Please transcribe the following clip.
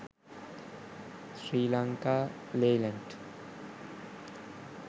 sri lanka leyland